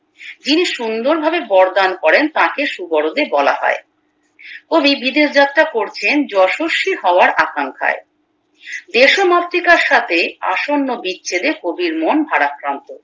যিনি সুন্দর ভাবে বড় দান করেন তাকে সুবোরোদে করে বলা হয় কবি বিদেশ যাত্রা করছেন যশস্বী হওয়ার আকাঙ্খায় দেশমাতৃকার সাথে আসন্ন বিচ্ছেদে কবির মন ভারাক্রান্ত